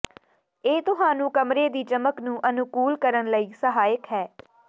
ਇਹ ਤੁਹਾਨੂੰ ਕਮਰੇ ਦੀ ਚਮਕ ਨੂੰ ਅਨੁਕੂਲ ਕਰਨ ਲਈ ਸਹਾਇਕ ਹੈ